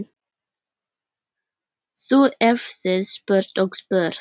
Þú hefðir spurt og spurt.